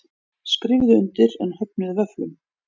Skrifuðu undir en höfnuðu vöfflum